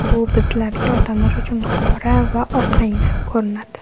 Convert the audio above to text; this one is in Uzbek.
Bu bizlarga, odamlar uchun qora va oq rangda ko‘rinadi.